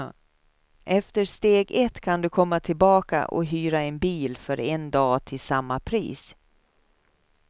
Efter steg ett kan du komma tillbaka och hyra en bil för en dag till samma pris.